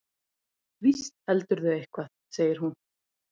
Víst heldurðu eitthvað, segir hún.